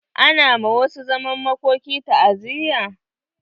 Ana wa masu zaman makoki ta"aziyya.